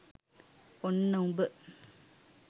ඔන්න උඹ